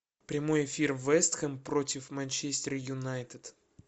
прямой эфир вест хэм против манчестер юнайтед